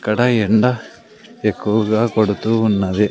ఇక్కడ ఎండ ఎక్కువగా కొడుతూ ఉన్నది.